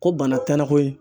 Ko bana tɛna koyi